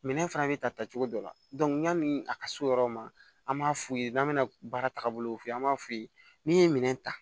Minɛn fana bɛ ta ta cogo dɔ la yanni a ka s'o yɔrɔ ma an b'a f'u ye n'an bɛna baara taabolo f'u ye an b'a f'u ye n'i ye minɛn ta